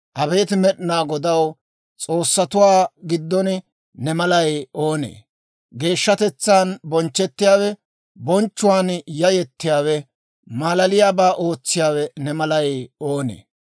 Abeet Med'inaa Godaw, s'oossatuwaa giddon ne malay oonee? Geeshshatetsaan bonchchettiyaawe, bonchchuwaan yayettiyaawe, malaliyaabaa ootsiyaawe ne malay oonee?